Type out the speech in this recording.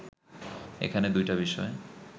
এখানে দুইটা বিষয়